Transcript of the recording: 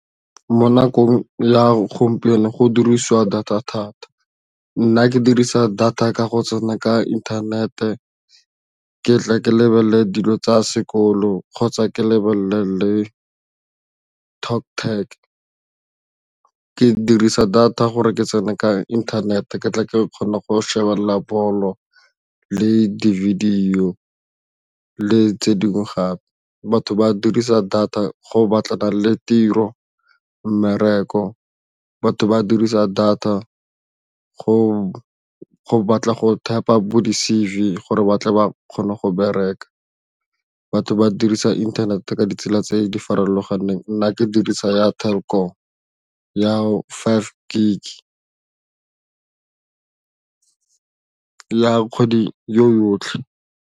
Mo nakong ya gompieno go dirisiwa data thata, nna ke dirisa data ka go tsena ka internet ke tle ke lebelele dilo tsa sekolo kgotsa ke lebelele le TalkTag, ke dirisa data gore ke tsene ka internet e ke tla ke kgona go shebelela ball o le di video le tse dingwe gape batho ba dirisa data go batlana le tiro mmereko. Batho ba dirisa data go batla go typer bo di-C_V gore batle ba kgone go bereka batho ba dirisa inthanete ka ditsela tse di farologaneng nna ke dirisa ya theko ya five gig ya kgwedi yo yotlhe.